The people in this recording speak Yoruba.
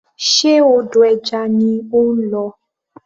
Ṣe odò ẹja ni ó ń lọ?